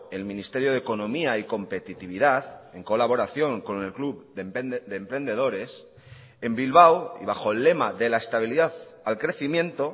el ministerio de economía y competitividad en colaboración con el club de emprendedores en bilbao y bajo el lema de la estabilidad al crecimiento